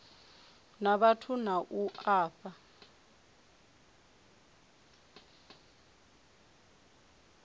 na vhathu na u fha